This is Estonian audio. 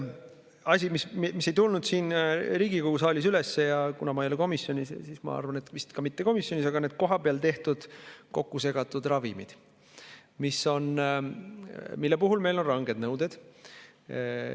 Asi, mis ei tulnud siin Riigikogu saalis üles – ma ei ole komisjonis, aga ma arvan, et vist ka mitte komisjonis –, on need kohapeal tehtud, kokkusegatud ravimid, mille kohta meil on ranged nõuded.